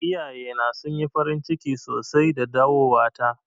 Iyaye na sun yi farin ciki sosai da dawowa ta.